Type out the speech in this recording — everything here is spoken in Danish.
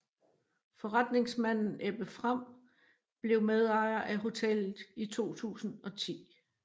Forretningsmanden Ebbe Frahm blev medejer af hotellet i 2010